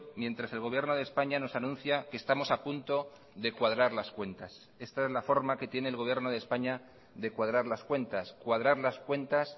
mientras el gobierno de españa nos anuncia que estamos apunto de cuadrar las cuentas esta es la forma que tiene el gobierno de españa de cuadrar las cuentas cuadrar las cuentas